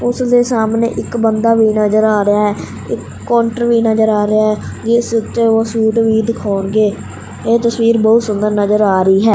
ਓਸਦੇ ਸਾਹਮਣੇ ਇੱਕ ਬੰਦਾ ਵੀ ਨਜਰ ਆ ਰਿਹਾ ਹੈ ਇੱਕ ਕੌਂਟਰ ਵੀ ਨਜਰ ਆ ਰਿਹਾ ਹੈ ਜਿੱਸ ਉੱਤੇ ਓਹ ਸਵੀਟ ਵੀ ਦਿਖਾਉਣਗੇ ਏਹ ਤਸਵੀਰ ਬਹੁਤ ਸੁੰਦਰ ਨਜਰ ਆ ਰਹੀ ਹੈ।